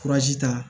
ta